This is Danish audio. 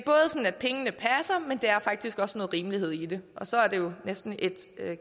at pengene passer men der er faktisk også noget rimelighed i det og så er det jo næsten et